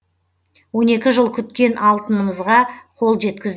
он екі жыл күткен алтынымызға қол жеткіз